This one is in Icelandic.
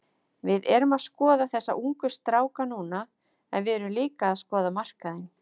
Við erum að skoða þessa ungu stráka núna en við erum líka að skoða markaðinn.